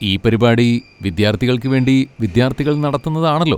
ഈ പരിപാടി വിദ്യാർത്ഥികൾക്ക് വേണ്ടി വിദ്യാർഥികൾ നടത്തുന്നതാണല്ലോ.